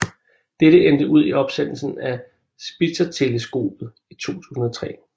Dette endte ud i opsendelsen af Spitzerteleskopet i 2003